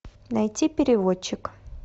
найти переводчик